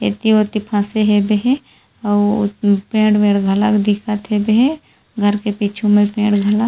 एति वोती फसे हेबे हे अउ पेड़-वेड़ घला दिखत हेबे हे घर के पीछू पेड़ घला--